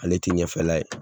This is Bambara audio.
Ale tɛ ɲɛfɛla ye,